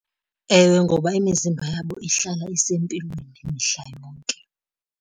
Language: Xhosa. Ewe, ngoba imizimba yabo ihlala isempilweni mihla yonke.